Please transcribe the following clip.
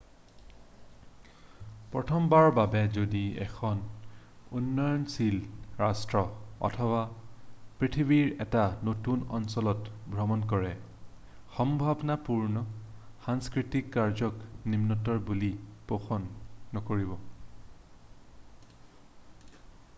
প্ৰথমবাৰৰ বাবে যদি এখন উন্নয়নশীল ৰাষ্ট্ৰ অথবা পৃথিৱীৰ এটা নতুন অঞ্চলত ভ্ৰমণ কৰে সম্ভাৱনাপূৰ্ণ সাংস্কৃতিক কাৰ্যক নিম্নতৰ বুলি পোষণ নকৰিব